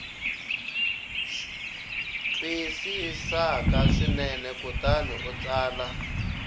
twisisaka swinene kutani u tsala